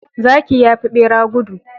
Zaki yafi bera gudu